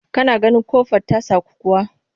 Ka na ganin ƙofar ta saku kuwa?